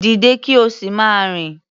Dìde kí o sì máa rìn.